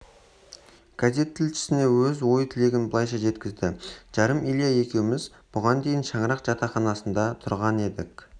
газет тілішісіне өз ой-тілегін былайша жеткізді жарым илья екеуміз бұған дейін шаңырақ жатақханасында тұрған едік